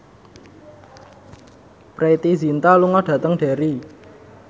Preity Zinta lunga dhateng Derry